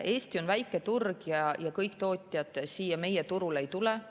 Eesti on väike turg ja kõik tootjad siia meie turule ei tule.